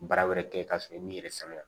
Baara wɛrɛ kɛ ka sɔrɔ i m'i yɛrɛ sɛgɛn